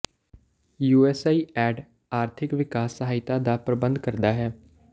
you S I D ਆਰਥਿਕ ਵਿਕਾਸ ਸਹਾਇਤਾ ਦਾ ਪ੍ਰਬੰਧ ਕਰਦਾ ਹੈ